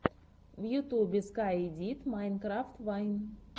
в ютюбе скай дид майнкрафт вайн